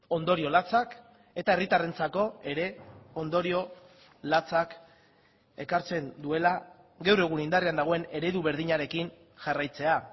ondorio latzak eta herritarrentzako ere ondorio latzak ekartzen duela gaur egun indarrean dagoen eredu berdinarekin jarraitzea